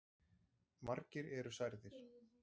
Margir eru særðir.